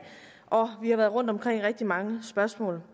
og vi har været rundt om rigtig mange spørgsmål